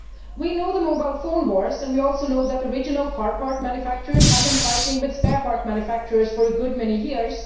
We know about the mobile phone wars and we also know that original car part manufacturers have been fighting with spare part manufacturers for a good many years.